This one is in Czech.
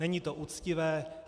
Není to uctivé.